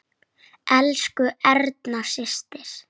Elsku Erna systir.